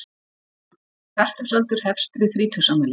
Fertugsaldur hefst við þrítugsafmæli.